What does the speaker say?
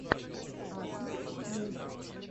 асмар муд